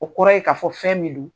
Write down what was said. O kɔrɔ ye k'a fɔ fɛn min don